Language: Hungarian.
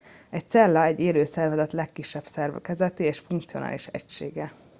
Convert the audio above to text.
egy cella egy élő szervezet legkisebb szerkezeti és funkcionális egysége